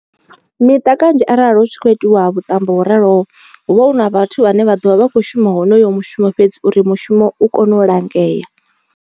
Miṱa kanzhi arali hu tshi khou itiwa vhuṱambo ho raloho, hu vha hu na vhathu vhane vha ḓovha vha kho shuma honoyo mushumo fhedzi uri mushumo u kone u langea.